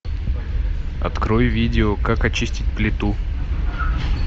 открой видео как очистить плиту